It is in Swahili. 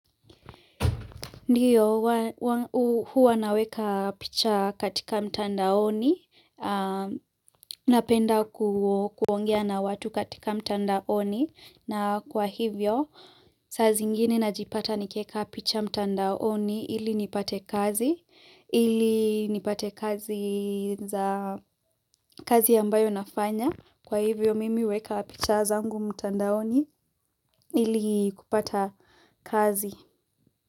Ndiyo, huwa naweka picha katika mtandaoni, napenda kuongea na watu katika mtandaoni, na kwa hivyo, saa zingine najipata nikieka picha mtandaoni ili nipate kazi, ili nipate kazi za kazi ambayo nafanya, kwa hivyo mimi huweka picha zangu mtandaoni ili kupata kazi.